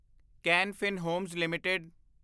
can Fin Homes LTD